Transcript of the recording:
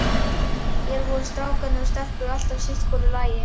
Hér voru strákarnir og stelpurnar alltaf sitt í hvoru lagi.